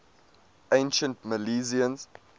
ancient milesians